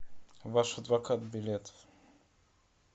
ваш адвокат билет